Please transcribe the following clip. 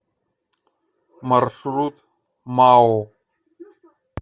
маршрут мао